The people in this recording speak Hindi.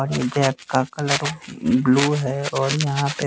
और नीचे का कलर ब्ल्यू है और यहां पे--